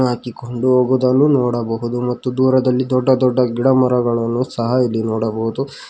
ಹಾಕಿಕೊಂಡು ಹೋಗುವುದನ್ನು ನೋಡಬಹುದು ಮತ್ತು ದೂರದಲ್ಲಿ ದೊಡ್ಡ ದೊಡ್ಡ ಗಿಡಮರಗಳನ್ನು ಸಹ ಇಲ್ಲಿ ನೋಡಬಹುದು.